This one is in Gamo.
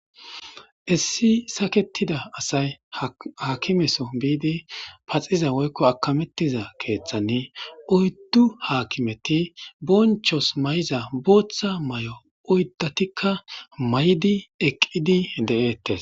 issi saketida asay hakimeso biidi paxiza woykko akamettiza keeththanni oyddu haakimeti bonchos may7iza booththa may7o oyddatikka may7di eqqidi de7eettes